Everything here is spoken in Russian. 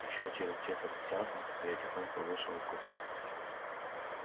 ещё через четверть часа я тихонько вышел из купе